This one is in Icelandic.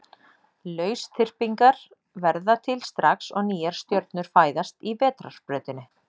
Lausþyrpingar verða til strax og nýjar stjörnur fæðast í Vetrarbrautinni.